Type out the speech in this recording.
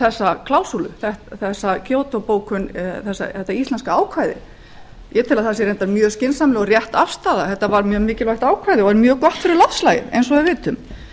þessa klásúlu þessa kyoto bókun þetta íslenska ákvæði ég tel raunar að það sé mjög skynsamleg og rétt afstaða þetta var var mjög mikilvægt ákvæði og er mjög gott fyrir loftslagið eins og við vitum